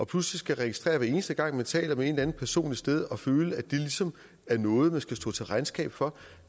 pludselig skal registrere det hver eneste gang man taler med en eller anden person et sted og føle at det ligesom er noget man skal stå til regnskab for